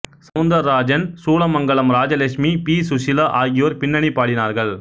Soundararajan Soolamangalam Rajalakshmi P Susheela ஆகியோர் பின்னணி பாடினார்கள்